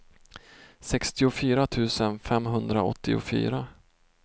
sextiofyra tusen femhundraåttiofyra